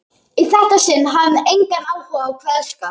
Í þetta sinn hafði hann engan áhuga á kveðskap.